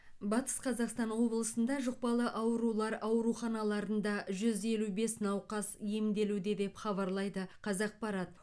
батыс қазақстан облысында жұқпалы аурулар ауруханаларында жүз елу бес науқас емделуде деп хабарлайды қазақпарат